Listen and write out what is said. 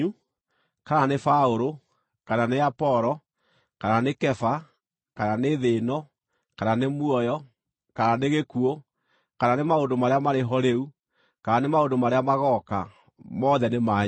kana nĩ Paũlũ, kana nĩ Apolo, kana nĩ Kefa, kana nĩ thĩ ĩno, kana nĩ muoyo, kana nĩ gĩkuũ, kana nĩ maũndũ marĩa marĩ ho rĩu, kana nĩ maũndũ marĩa magooka, mothe nĩ manyu,